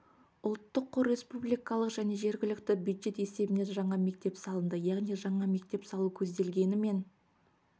ұлттық қор республикалық және жергілікті бюджет есебінен жаңа мектеп салынды яғни жаңа мектеп салу көзделгенімен